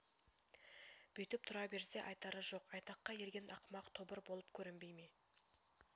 бүйтіп тұра берсе айтары жоқ айтаққа ерген ақымақ тобыр болып көрінбей ме